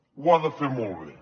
ho ha de fer molt bé